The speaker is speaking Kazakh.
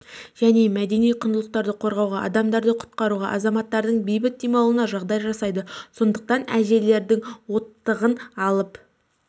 және мәдени құндылықтарды қорғауға адамдарды құтқаруға азаматтардың бейбіт демалуына жағдай жасайды сондықтан әжелердің оттығын алып